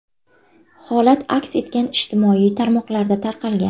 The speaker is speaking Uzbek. Holat aks etgan ijtimoiy tarmoqlarda tarqalgan.